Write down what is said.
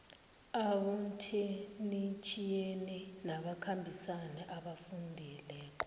abotheknitjhiyeni nabakhambisani abafundele